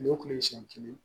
O kun ye siɲɛ kelen